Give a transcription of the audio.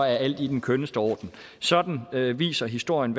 alt i den skønneste orden sådan viser historien